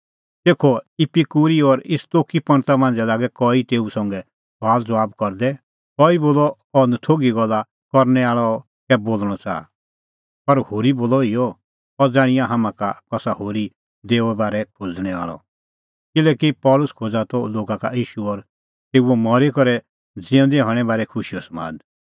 तेखअ इपिकूरी और स्तोईकी पंडता मांझ़ै लागै कई तेऊ संघै सुआलज़बाब करदै कई बोलअ इहअ अह नथोघी गल्ला करनै आल़अ कै बोल़णअ च़ाहा पर होरी बोलअ इहअ अह ज़ाण्हिंआं हाम्हां का कसा होरी देओए बारै खोज़णैं आल़अ किल्हैकि पल़सी खोज़ा त लोगा का ईशू और तेऊओ मरी करै ज़िऊंदै हणें बारै खुशीओ समाद